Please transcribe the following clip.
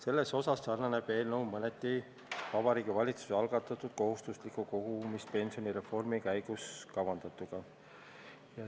Selles osas sarnaneb see eelnõu mõneti Vabariigi Valitsuse algatatud kohustusliku kogumispensioni reformi käigus kavandatuga.